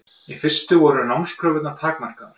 Í fyrstu voru námskröfurnar takmarkaðar.